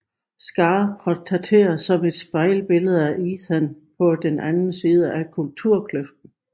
Scar portrætteres som et spejlbillede af Ethan på den anden side at kulturkløften